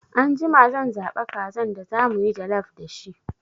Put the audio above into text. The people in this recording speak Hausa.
Anjima zan zaɓa kazan da zamuyi jallaf da shi